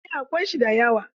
Eh, akwai shi da yawa.